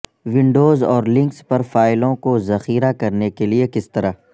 Windows اور Linux پر فائلوں کو ذخیرہ کرنے کے لئے کس طرح